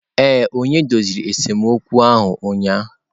Ee, onye doziri esemokwu ahụ ụnyahụ.